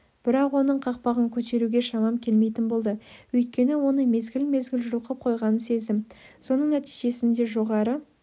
бірақ оның қақпағын көтеруге шамам келмейтін болды өйткені оны мезгіл-мезгіл жұлқып қойғанын сездім соның нәтижесінде жоғары